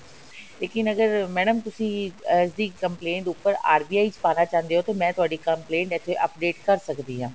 ਲੇਕਿਨ ਅਗਰ madam ਤੁਸੀਂ ਇਸਦੀ complaint ਉੱਪਰ RBI ਚ ਪਾਣਾ ਚਾਹੁੰਦੇ ਹੋ ਤਾਂ ਮੈਂ ਤੁਹਾਡੀ complaint ਇੱਥੇ update ਕਰ ਸਕਦੀ ਹਾਂ